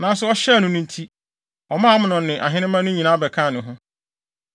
Nanso ɔhyɛɛ no nti, ɔmaa Amnon ne ahenemma no nyinaa bɛkaa ne ho.